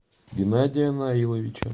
геннадия наиловича